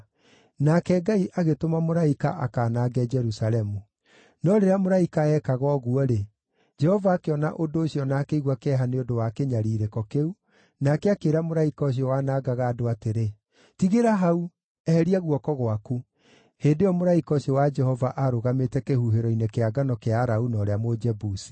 Nake Ngai agĩtũma mũraika akanange Jerusalemu. No rĩrĩa mũraika ekaga ũguo-rĩ, Jehova akĩona ũndũ ũcio na akĩigua kĩeha nĩ ũndũ wa kĩnyariirĩko kĩu, nake akĩĩra mũraika ũcio wanangaga andũ atĩrĩ, “Tigĩra hau! Eheria guoko gwaku.” Hĩndĩ ĩyo mũraika ũcio wa Jehova aarũgamĩte kĩhuhĩro-inĩ kĩa ngano kĩa Arauna ũrĩa Mũjebusi.